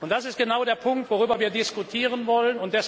Das ist genau der Punkt, worüber wir diskutieren wollen.